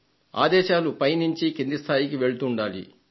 ఆదేశాలు పై నుండి కింది స్థాయికి వెళ్తుండాలి